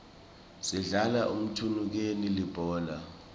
sidlala mthunukeni libhola